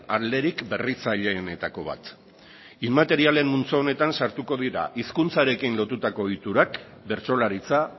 alderik berritzaileenetako bat inmaterialen multzo honetan sartuko dira hizkuntzarekin lotutako ohiturak bertsolaritza